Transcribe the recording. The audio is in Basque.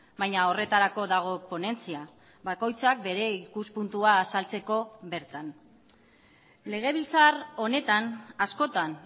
baina horretarako dago ponentzia bakoitzak bere ikuspuntua azaltzeko bertan legebiltzar honetan askotan